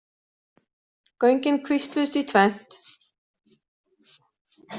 Göngin kvísluðust í tvennt.